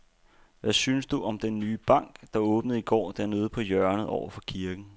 Hvad synes du om den nye bank, der åbnede i går dernede på hjørnet over for kirken?